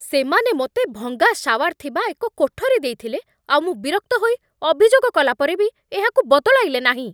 ସେମାନେ ମୋତେ ଭଙ୍ଗା ଶାୱାର ଥିବା ଏକ କୋଠରୀ ଦେଇଥିଲେ, ଆଉ ମୁଁ ବିରକ୍ତ ହୋଇ ଅଭିଯୋଗ କଲାପରେ ବି ଏହାକୁ ବଦଳାଇଲେ ନାହିଁ।